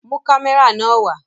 Mu kamẹra nàa wa!